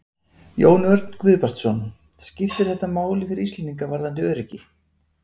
Jón Örn Guðbjartsson: Skiptir þetta máli fyrir Íslendinga varðandi öryggi?